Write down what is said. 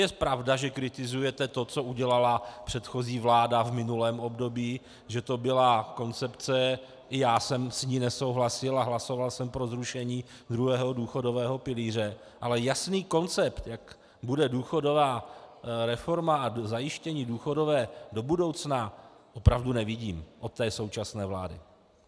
Je pravda, že kritizujete to, co udělala předchozí vláda v minulém období, že to byla koncepce, i já jsem s ní nesouhlasil a hlasoval jsem pro zrušení druhého důchodové pilíře, ale jasný koncept, jak bude důchodová reforma a zajištění důchodové do budoucna, opravdu nevidím od té současné vlády.